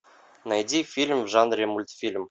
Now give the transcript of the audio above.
найди фильм в жанре мультфильм